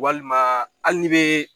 Walima ali nn be